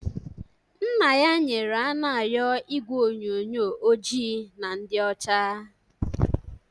Nna ya nyere Anayo igwe onyonyo ojii na ndị ọcha